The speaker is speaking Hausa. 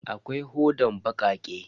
Akwai hodan bakake.